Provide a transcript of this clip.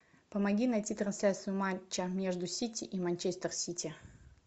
помоги найти трансляцию матча между сити и манчестер сити